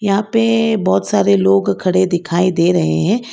यहां पे बहोत सारे लोग खड़े दिखाई दे रहे हैं।